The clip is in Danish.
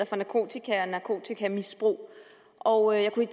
for narkotika og narkotikamisbrug og jeg kunne i